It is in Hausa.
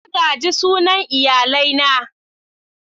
Na gaji sunan iyalai na.